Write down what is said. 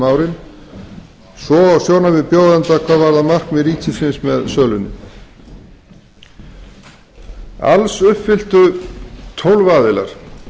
árin svo og sjónarmið bjóðenda hvað varðar markmið ríkisins með sölunni alls uppfylltu tólf aðilar